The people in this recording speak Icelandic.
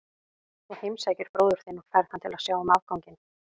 Þú heimsækir bróður þinn og færð hann til að sjá um afganginn.